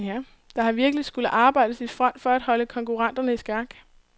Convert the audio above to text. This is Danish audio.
Der har virkelig skullet arbejdes i front for at holde konkurrenterne i skak.